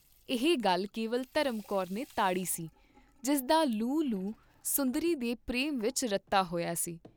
ਇਹ ਗੱਲ ਕੇਵਲ ਧਰਮ ਕੌਰ ਨੇ ਤਾੜੀ ਸੀ, ਜਿਸਦਾ ਲੂੰ ਲੂੰ ਸੁੰਦਰੀ ਦੇ ਪ੍ਰੇਮ ਵਿਚ ਰੱਤਾ ਹੋਇਆ ਸੀ।